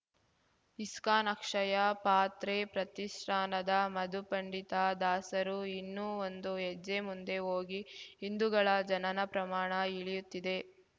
ISKCON Akshaya Patra ಪ್ರತಿಷ್ಠಾನದ ಮಧುಪಂಡಿತ ದಾಸರು ಇನ್ನೂ ಒಂದು ಹೆಜ್ಜೆ ಮುಂದೆ ಹೋಗಿ ಹಿಂದುಗಳ ಜನನ ಪ್ರಮಾಣ ಇಳಿಯುತ್ತಿದೆ